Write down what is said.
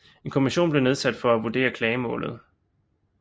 En kommission blev nedsat for at vurdere klagemålet